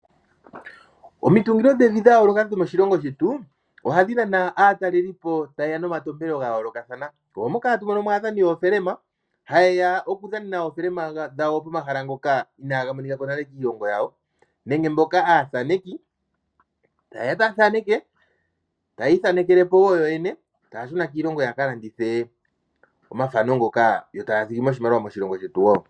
Omitungilo dhevi dha yooloka dho moshilongo shetu ohadhi nana aatalelipo tayeya nomantompelo gayolokathana, oomoka atwaadha aadhani yoofelema ha yeya yadhanene oofelema dhawo pomahala ngoka inaga monikwako nale kiilonga yawo nenge mboka aathaneki tayeya etaathaneke tayiithanekele po woo yoyene taashuna kiilongo yawo yakalandithe omathano ngoka yo taathigimo iimaliwa moshilongo shetu.